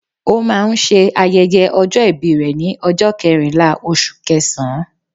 Ó máa n se ayẹyẹ ọjọ́ ìbí rẹ̀ ni ọjọ́ kẹrìnlá oṣù kẹẹẹ̀sán